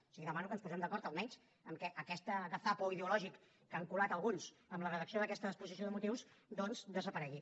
o sigui demano que ens posem d’acord almenys en el fet que aquest gazapo ideològic que han colat alguns en la redacció d’aquesta exposició de motius doncs desaparegui